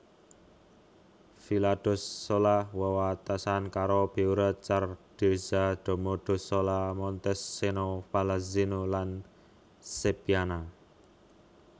Villadossola wewatesan karo Beura Cardezza Domodossola Montescheno Pallanzeno lan Seppiana